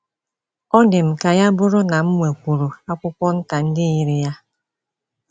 Ọ dị m ka ya bụrụ na m nwekwuru akwụkwọ nta ndị yiri ya. ”